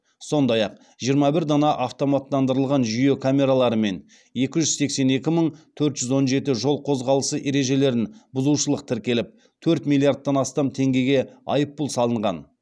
сондай ақ жиырма бір дана автоматтандырылған жүйе камераларымен екі жүз сексен екі мың төрт жүз он жеті жол қозғалысы ережелерін бұзушылық тіркеліп төрт миллиардтан астам теңгеге айыппұл салынған